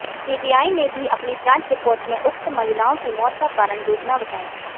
CBI ने भी अपनी जांच रिपोर्ट में उक्त महिलाओं की मौत का कारण डूबना बताया